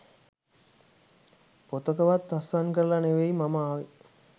පොතකවත් අත්සන් කරලා නොවෙයි මම ආවේ